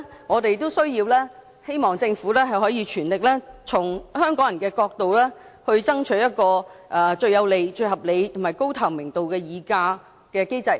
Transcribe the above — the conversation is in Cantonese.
我們希望政府可以全力從香港人的角度，爭取一個最有利、合理及高透明度的議價機制。